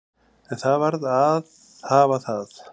En það varð að hafa það.